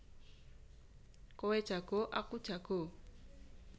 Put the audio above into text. Kowe jago aku jago